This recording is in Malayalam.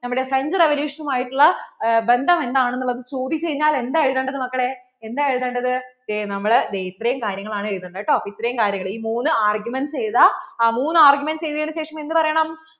നമ്മുടെ French revolution നുമായിട്ടുള്ള ബന്ധം എന്താണെന്നുള്ളത് ചോദിച്ചു കഴിഞ്ഞാൽ എന്താ എഴുതേണ്ടത് മക്കളെ എന്താ എഴുതേണ്ടത്? ദേ നമ്മൾ ദേ ഇത്രയും കാര്യങ്ങൾ ആണ് എഴുതേണ്ടത് കേട്ടോ അപ്പോൾ ഇത്രയും കാര്യങ്ങ ഈ മൂന്ന് arguments എഴുതാ മൂന്ന് arguments എഴുതിയെന്നു ശേഷം എന്ത് പറയണം